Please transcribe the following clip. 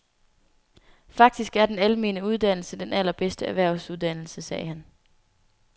Faktisk er den almene uddannelse den allerbedste erhvervsuddannelse, sagde han.